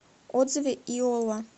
отзывы иолла